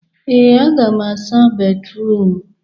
Ee, aga m asa béfrụm.